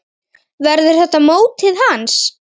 Verður þetta mótið hans?